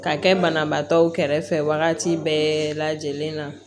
Ka kɛ banabaatɔw kɛrɛfɛ wagati bɛɛ lajɛlen na